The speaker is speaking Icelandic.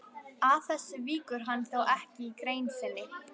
Að þessu víkur hann þó ekki í grein sinni.